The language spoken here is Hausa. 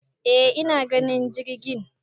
e ina ganin jirgin